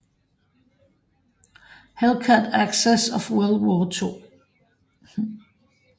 Hellcat Aces of World War 2